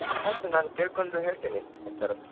ಆಯ್ತು ನಾನು ಕೇಳ್ಕೊಂಡು ಹೇಳ್ತೇನೆ HR ಹತ್ರ.